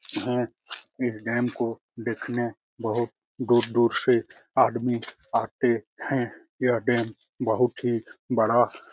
हैं इस डैम को देखने बहुत दूर-दूर से आदमी आते हैं। यह डैम बहुत ही बड़ा --